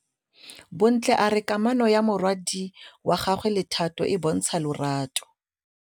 Bontle a re kamanô ya morwadi wa gagwe le Thato e bontsha lerato.